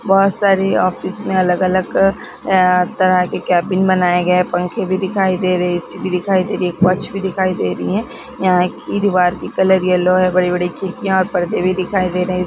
बहुत सारी ऑफिस में अलग-अलग ए तरह के केबिन बनाए गए है पंखे भी दिखाई दे रही है दिखाई दे रही है वॉच भी दिखाई दे रही है यहाँ की दीवार की कलर येलो है बड़े-बड़े खिड़कियाँ और पर्दे भी दिखाई दे रही है।